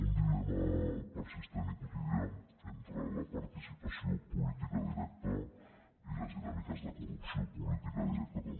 un dilema persistent i quotidià entre la participació política directa i les dinàmiques de corrupció política directa també